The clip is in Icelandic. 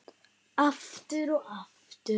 Aftur og aftur.